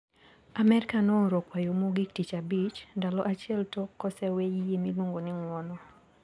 Amerka nooro kwayo mogik tich abich, ndalo achiel tok kosewee yie miluongo ni Ng`uono.